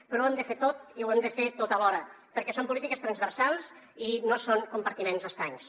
però ho hem de fer tot i ho hem de fer tot alhora perquè són polítiques transversals i no són compartiments estancs